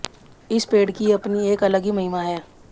इस पेड़ की अपनी एक अलग ही महिमा है